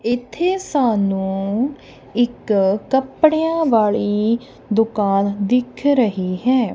ਇਥੇ ਸਾਨੂੰ ਇੱਕ ਕੱਪੜਿਆਂ ਵਾਲੀ ਦੁਕਾਨ ਦਿਖ ਰਹੀ ਹੈ।